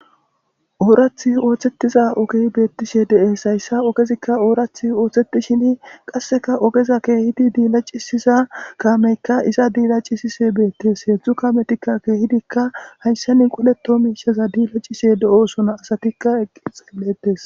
oorath ooththettiza ogey beettishe de7es hayssa ogezikka oorath ooththetishin qasseka ogeza keehidi diilacisiza kaameykka iza diilacisise beettes heedzdzu kametikka keehidikka haysenin qoleto miishaza diilacishe de7osona asatikka eqqi xilletes